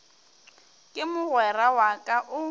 ke mogwera wa ka o